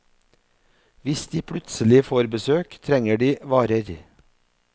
Hvis de plutselig får besøk, trenger de varer.